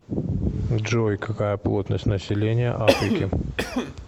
джой какая плотность населения африки